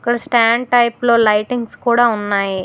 అక్కడ stand type లో lightings కూడా ఉన్నాయి.